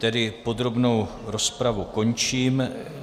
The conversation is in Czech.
Tedy podrobnou rozpravu končím.